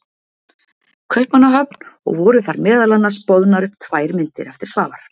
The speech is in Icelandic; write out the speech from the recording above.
Kaupmannahöfn og voru þar meðal annars boðnar upp tvær myndir eftir Svavar